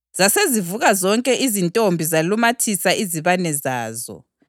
Zasezivuka zonke izintombi zalumathisa izibane zazo.